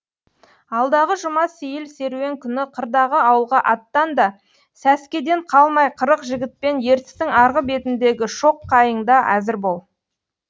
алдағы жұма сейіл серуен күні қырдағы ауылға аттан да сәскеден қалмай қырық жігітпен ертістің арғы бетіндегі шоқ қайыңда әзір бол